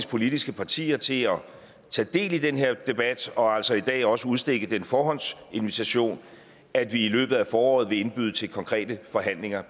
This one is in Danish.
politiske partier til at tage del i den her debat og altså i dag også udstikke den forhåndsinvitation at vi i løbet af foråret vil indbyde til konkrete forhandlinger